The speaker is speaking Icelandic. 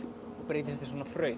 og breytist í svona